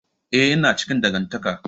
Eh ina cikin dangantaka.